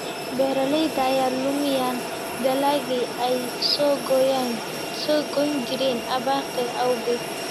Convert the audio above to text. Beeraleyda ayaa luminaya dalaggii ay soo goyn jireen abaarta awgeed.